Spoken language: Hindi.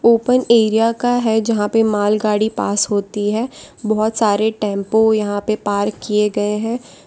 ओपन एरिया का है जहां पे मालगाड़ी पास होती है बहुत सारे टेंपू यहां पे पार्क किए गए हैं।